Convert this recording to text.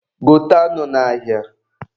Gote anụ n'ahịa.